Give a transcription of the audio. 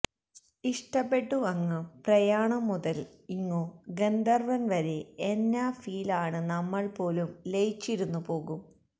ഇഷ്ട്ടപ്പെട്ടു അങ്ങ് പ്രയാണം മുതൽ ഇങ്ങു ഗന്ധർവ്വൻ വരെ എന്നാ ഫീൽ ആണ് നമ്മൾ പോലും ലയിച്ചിരുന്നു പോകും